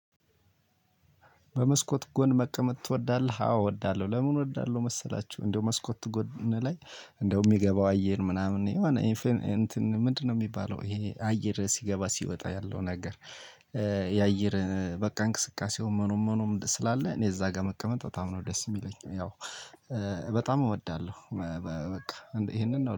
በመስኮት ጎን መቀመጥ ትወዳለህ አዎ እወዳለሁ ለምን እወዳለሁ መሰላችሁ እንደው መስኮት ጎን ላይ እንደው የሚገባው አየር ምናምን የሆነ እንትን ምንድነው? የሚባለው ይሄ አየር ሲገባ ሲወጣ ያለው ነገር እ የአየር በቃ እንቅስቃሴው ምኑም ምኑም ስላለ እኔ እዛ ጋር መቀመጥ በጣም ነው ደስ የሚለኝ። ያው እ በጣም እወዳለሁ እ እ በቃ ይሄንን እወ